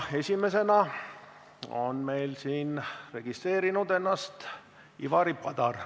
Esimeseks on meil siin registreerinud ennast Ivari Padar.